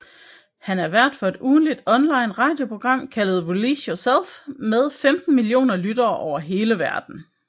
Han er vært for et ugentligt online radioprogram kaldet Release Yourself med 15 millioner lyttere over hele verden